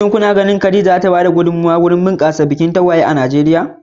Shin kuna ganin Khadija za ta ba da gudummawa wajen bunƙasa bikin tagwaye a Najeriya?